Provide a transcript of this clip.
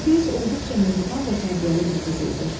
Bilqeyis olduqca mehriban və tərbiyəli bir qız idi.